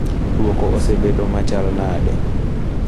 Duoko osebedo adekal nade?